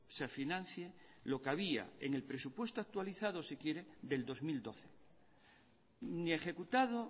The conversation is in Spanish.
se financie lo que había en el presupuesto actualizado si quiere del dos mil doce ni ejecutado